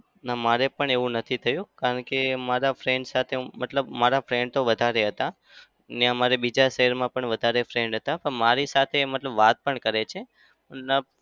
ના. મારે પણ એવું નઈ થયું. કારણ કે મારા friend સાથે મતલબ મારા friend તો વધારે હતા. ને મારે બીજા શહેરમાં પણ વધારે friend હતા. પણ મારી સાથે મતલબ વાત પણ કરે છે.